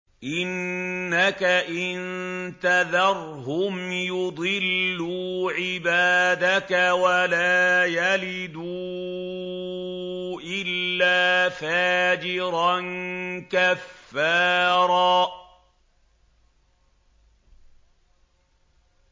إِنَّكَ إِن تَذَرْهُمْ يُضِلُّوا عِبَادَكَ وَلَا يَلِدُوا إِلَّا فَاجِرًا كَفَّارًا